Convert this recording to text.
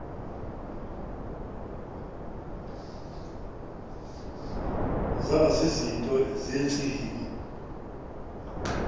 zaba zizinto zentsini